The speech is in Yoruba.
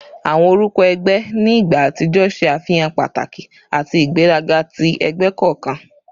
Awọn orukọ ẹgbẹ ni igba atijọ ṣe afihan pataki ati igberaga ti ẹgbẹ kọọkan